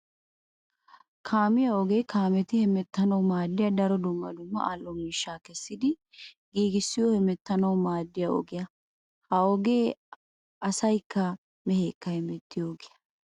Kaamiya ogee kaametti hemettanawu maadiya daro dumma dumma ali'o miishsha kessiddi giigissiyo hemettanawu maadiya ogiya. Ha ogee asaykka mehekka hemettiyo ogiya.